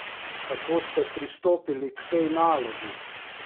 Kako ste pristopili k tej nalogi?